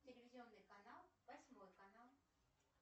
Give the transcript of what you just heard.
телевизионный канал восьмой канал